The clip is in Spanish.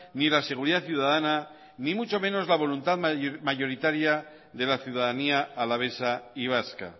ni la seguridad ciudadana ni mucho menos la voluntad mayoritaria de la ciudadanía alavesa y vasca